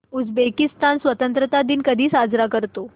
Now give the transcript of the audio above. Uzbekistan स्वतंत्रता दिन कधी साजरा करतो